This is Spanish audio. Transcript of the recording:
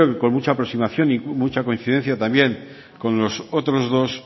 creo que con mucha aproximación y mucha coincidencia también con los otros dos